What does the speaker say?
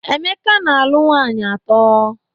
Emeka na-alụ nwaanyị atọ.